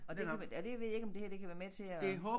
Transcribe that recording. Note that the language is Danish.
Og det kan være og det ved jeg ikke om det her kan være med til at